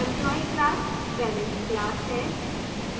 employee class parent class है